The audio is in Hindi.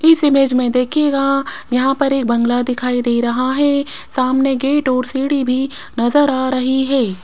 इस इमेज में देखिएगा यहां पर एक बंगला दिखाई दे रहा है सामने गेट और सीढ़ी भी नजर आ रही है।